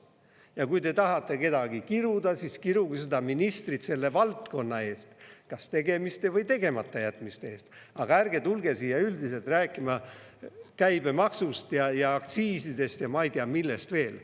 Ja kui te tahate kedagi kiruda, siis kiruge seda ministrit selle valdkonna eest, kas tegemiste või tegematajätmiste eest, aga ärge tulge siia üldiselt rääkima käibemaksust ja aktsiisidest ja ma ei tea, millest veel.